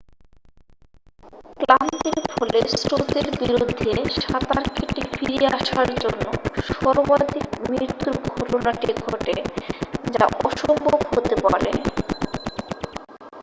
ক্লান্তির ফলে স্রোতের বিরুদ্ধে সাঁতার কেটে ফিরে আসার জন্য সর্বাধিক মৃত্যুর ঘটনাটি ঘটে যা অসম্ভব হতে পারে